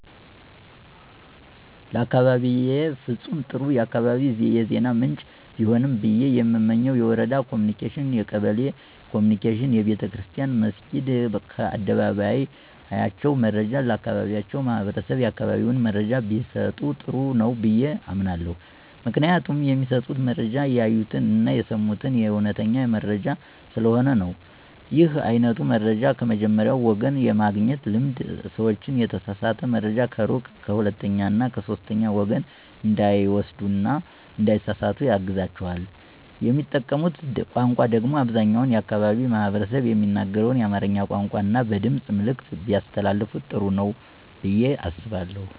ለአካባቢየ ፍጹም ጥሩ የአካባቢ የዜና ምንጭ ቢሆን ብየ የምመኘው የወረዳ ኮምኒኬሽን፣ የቀበሌ ኮምኒኬሽን፣ ቤተክርስትያን መስኪድ ከአደባባያቸው መረጃ ለአካባቢያቸው ማህበረሰብ የአካባቢውን መረጃ ቢሰጡ ጥሩ ነው ብየ አምናለሁ። ምክንያቱም የሚሰጡት መረጃ ያዩትን አና የሰሙትን አዉነተኛ መረጃ ስለሆነ ነው። ይህ አይነቱ መረጃን ከመጀመሪያዉ ወገን የማግኘት ልምድ ሰዎችን የተሳሳተ መረጃ ከሩቅ ከሁለተኛ እና ከሶስተኛ ወገን እንዳይወስዱ እና እንዳይሳሰሳቱ ያግዛቸዋል። የሚጠቀሙት ቋንቋ ደግሞ አብዛኛው የአካባቢው ማህበረሰብ የሚናገረውን የአማርኛ ቋንቋን እና በድምጽ መልዕክት ቢያስተላልፋ ጥሩ ነው ብየ አስባለሁ።